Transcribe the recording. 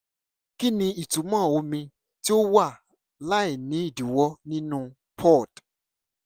kí ni ìtumọ̀ omi tí ó wà láì ní ìdíwọ́ nínú pod?